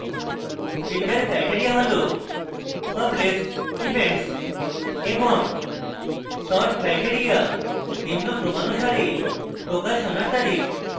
filter criteria হল published events এবং the sort criteria নিম্নক্রমানুসারে প্রকাশনার তারিখ